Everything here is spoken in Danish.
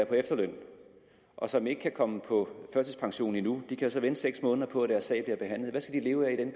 på efterløn og som ikke kan komme på førtidspension nu de kan så vente seks måneder på at deres sag bliver behandlet skal leve af